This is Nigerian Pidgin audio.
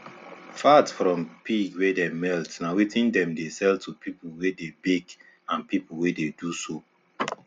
fat from pig wey dem melt na wetin dem dey sell to pipu wey dey bake and pipu wey dey do soap